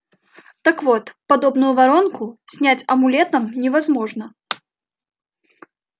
так вот подобную воронку снять амулетом невозможно